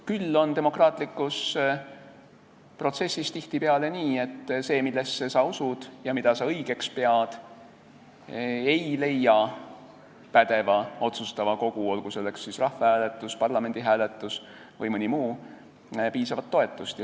Küll on demokraatlikus protsessis tihtipeale nii, et see, millesse sa usud ja mida õigeks pead, ei leia pädeva otsustava kogu, olgu selleks siis rahvas, parlament või keegi muu, hääletusel piisavat toetust.